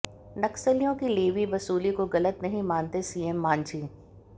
नक्सलियों की लेवी वसूली को गलत नहीं मानते सीएम मांझी